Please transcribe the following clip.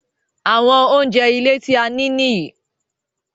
Àwọn oúnjẹ ilé tí a nì nìyí